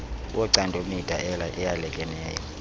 wocando mida eyalekeneyo